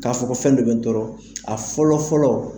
K'a fɔ ko fɛn dɔ bɛ n tɔɔrɔ a fɔlɔfɔlɔ.